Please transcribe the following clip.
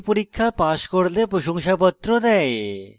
online পরীক্ষা pass করলে প্রশংসাপত্র দেয়